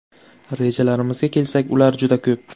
Rejalarimizga kelsak, ular juda ko‘p.